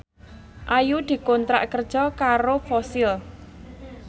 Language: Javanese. Ayu dikontrak kerja karo Fossil